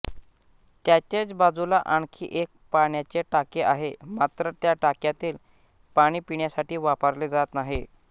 त्याचेच बाजूला आणखी एक पाण्याचे टाके आहे मात्र त्या टाक्यातील पाणी पिण्यासाठी वापरले जात नाही